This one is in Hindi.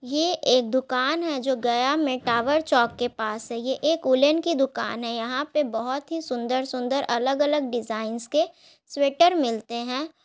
ये एक दुकान है जो गया में टॉवर चौक के पास है ये एक वूलन की दुकान है यहाँ पे बहुत ही सुन्दर-सुन्दर और अलग-अलग डिजाइंस के स्वेटर मिलते हैं।